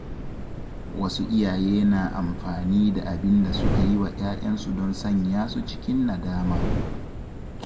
Wasu iyaye na amfani da abin da suka yi wa ‘ya’yansu don sanya su cikin nadama.